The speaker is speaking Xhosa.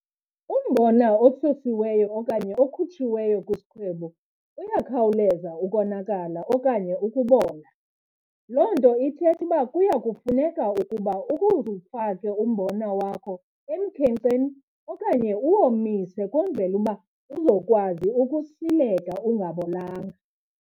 Umbona osusiweyo okanye okhutshiweyo kwisikhwebu uyakhawuleza ukonakala okanye ukubola. Loo nto ithetha uba kuya kufuneka ukuba ukuze ufake umbona wakho emkhenkceni okanye uwomise kwenzele uba uzokwazi ukusileka ungabolanga.